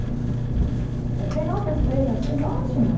Aí eu falei, nossa, esse pê eme é assim, ótimo.